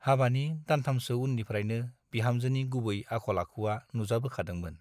हाबानि दानथामसो उननिफ्राइनो बिहामजोनि गुबै आखल - आखुवा नुजाबोखादोंमोन ।